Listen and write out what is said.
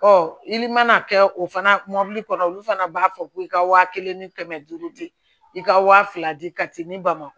i mana kɛ o fana mɔbili kɔnɔ olu fana b'a fɔ ko i ka waa kelen ni kɛmɛ duuru di i ka wa fila di ka taa ni bamakɔ